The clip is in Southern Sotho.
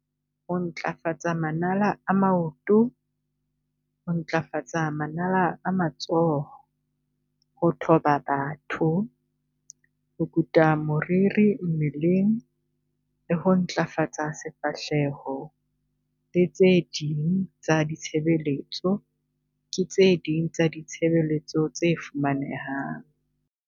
Ho ntlafatsa manala a maoto, ho ntlafatsa manala a matsoho, ho thoba batho, ho kuta moriri mmeleng le ho ntlafatsa sefahleho le tse ding tsa ditshebeletso ke tse ding tsa ditshebeletso tse fumanehang.